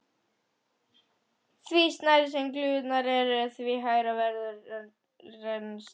Því smærri sem glufurnar eru, því hægara verður rennslið.